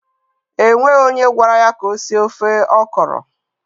E nweghi onye gwara ya ka o sie ofe ọkọrọ.